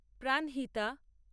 Pranhita